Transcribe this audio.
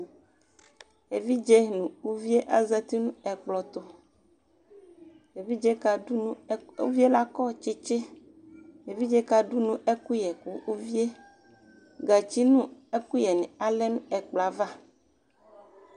Evidze nʋ uviyɛ azati nʋ ɛkplɔtʋUvie lakɔ tsitsiEvidze kaɖʋnu ɛkʋyɛ kuuviyɛGatsi nʋ ɛkuyɛ ni alɛ nʋ ɛkplɔyɛ ava